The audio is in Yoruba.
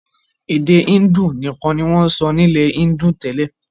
Èdè índù nìkan ni wọn sọ nilẹ índù tẹ́lẹ̀.